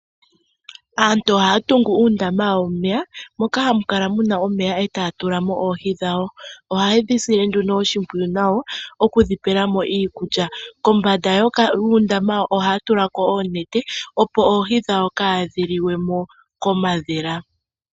Aaantu ohaya tungu uundama wawo womeya moka hamu kala mu na omeya, etaya tula mo oohi dhawo. Ohaye dhi sile nduno oshimpwiyu nawa okudhi pela mo iikulya. Kombanda yuundama ohaya kala yatula ko oonete, opo oohi dhawo kaadhi liwe mo komadhila.